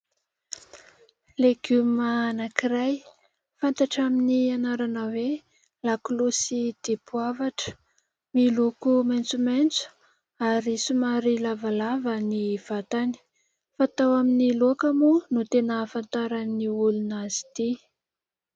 Legioma anankiray, fantatra amin'ny anarana hoe : lakolosy dipoavatra. Miloko maitsomaitso ary somary lavalava ny vatany, fatao amin'ny laoka moa no tena ahafantaran'ny olona azy ity.